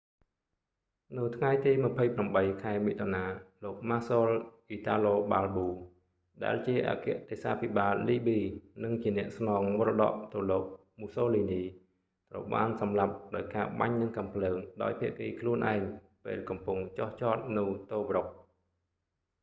នៅថ្ងៃទី 28 ខែមិថុនា លោកម៉ាស៊ល អ៊ីតាឡូ បាលប៊ូ marshal italo balbo ដែលជាអគ្គទេសាភិបាលលីប៊ី និងជាអ្នកស្នងមរតកទៅលោកមូសូលីនី mussolini ត្រូវបានសម្លាប់ដោយការបាញ់នឹងកាំភ្លើងដោយភាគីខ្លួនឯងពេលកំពុងចុះចតនៅតូប្រុក tobruk